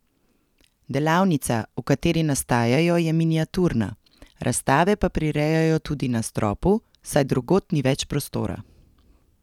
Delavnica, v kateri nastajajo, je miniaturna, razstave pa prirejajo tudi na stropu, saj drugod ni več prostora.